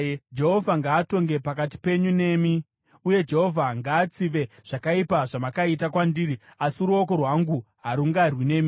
Jehovha ngaatonge pakati penyu nemi. Uye Jehovha ngaatsive zvakaipa zvamakaita kwandiri, asi ruoko rwangu harungarwi nemi.